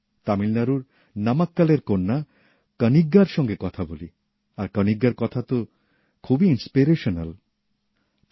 তামিলনাড়ুর নামাক্কলের কন্যা কনিগ্গার সঙ্গে কথা বলি আর কনিগ্গার কথা তো খুবই উৎসাহব্যঞ্জক